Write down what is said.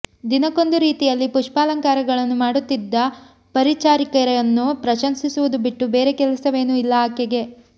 ದಿನಕ್ಕೊಂದು ರೀತಿಯಲ್ಲಿ ಪುಷ್ಪಾಲಂಕಾರಗಳನು ಮಾಡುತ್ತಿದ್ದ ಪರಿಚಾರಿಕೆಯರನ್ನು ಪ್ರಶಂಸಿಸುವುದು ಬಿಟ್ಟು ಬೇರೆ ಕೆಲಸವೇನೂ ಇಲ್ಲ ಆಕೆಗೆ